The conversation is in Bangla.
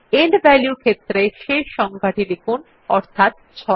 এন্ড ভ্যালিউ ক্ষেত্রে শেষ সংখ্যাটি লিখুন অর্থাৎ 6